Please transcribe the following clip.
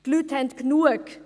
Die Leute haben genug!